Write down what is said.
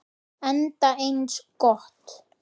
Enda eins gott.